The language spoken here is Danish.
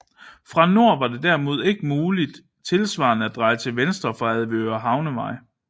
Fra nord var det derimod ikke muligt tilsvarende at dreje til venstre fra Avedøre Havnevej